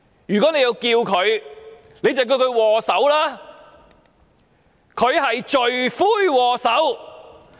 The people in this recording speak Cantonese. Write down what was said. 如果要稱呼她，就稱她為"禍首"，她是罪魁禍首。